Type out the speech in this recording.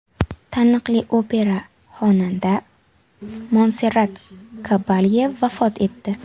Taniqli opera xonanda Monserrat Kabalye vafot etdi.